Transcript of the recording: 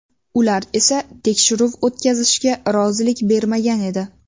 Ular esa tekshiruv o‘tkazishga rozilik bermagan edi.